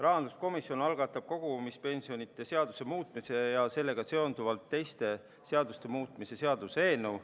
Rahanduskomisjon algatab kogumispensionide seaduse muutmise ja sellega seonduvalt teiste seaduste muutmise seaduse eelnõu.